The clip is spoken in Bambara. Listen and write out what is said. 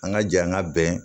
An ka jɛ an ka bɛn